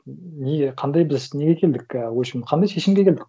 не қандай біз неге келдік і в общем қандай шешімге келдік